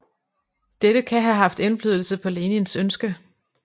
Dette kan have haft indflydelse på Lenins ønske